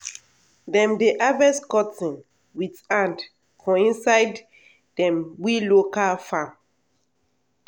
dem dey harvest cotton with hand for inside dem we local farm.